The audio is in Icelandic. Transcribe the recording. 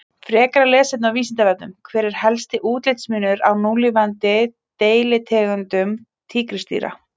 Frekara lesefni á Vísindavefnum: Hver er helsti útlitsmunur á núlifandi deilitegundum tígrisdýra?